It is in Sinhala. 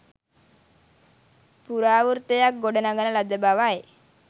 ප්‍රරාවෘත්තයක් ගොඩනඟන ලද බවයි